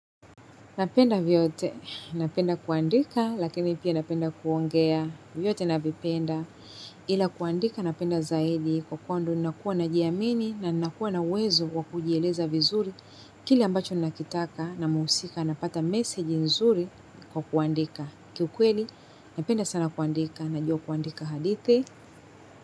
Napenda vyote, napenda kuandika, lakini pia napenda kuongea, vyote navipenda, ila kuandika napenda zaidi kwa kuwa nakuwa najiamini na nakuwa na uwezo wa kujieleza vizuri. Kile ambacho ninakitaka na muhusika napata message mzuri kwa kuandika. Kiukweli, napenda sana kuandika, najua kuandika hadithi.